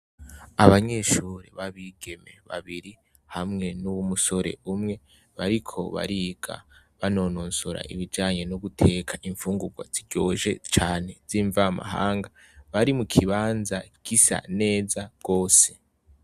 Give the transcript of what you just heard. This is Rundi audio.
Abanyeshure babigeme babiri hamwe nuwumusore umwe bariko bari banonosora ibijanye nuguteka imfungurwa ziryoshe cane zimvamahanga bari mukibanza gisa neza gose